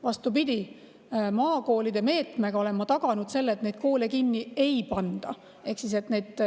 Vastupidi, maakoolide meetmega olen ma taganud selle, et neid koole kinni ei panda.